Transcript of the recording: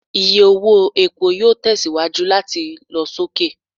Iye owo epo yoo tẹsiwaju lati lọ soke